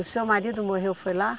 O seu marido morreu, foi lá?